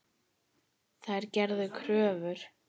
Þær gerðu kröfur.